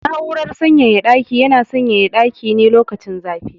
Na'urar sanyaya ɗaki yana sanyaya ɗaki ne lokacin zafi.